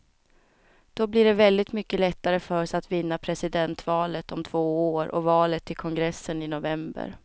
Då blir det väldigt mycket lättare för oss att vinna presidentvalet om två år och valet till kongressen i november.